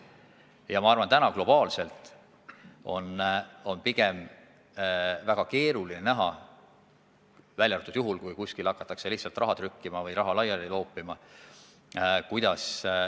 Ja ma arvan, et pigem on praegu väga keeruline näha, kuidas inflatsioon võiks globaalselt tõusta, välja arvatud juhul, kui kuskil hakatakse lihtsalt raha trükkima või raha laiali loopima.